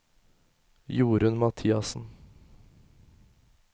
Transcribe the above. Jorunn Mathiassen